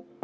Istung